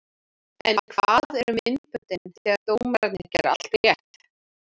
En hvar eru myndböndin þegar dómararnir gera allt rétt?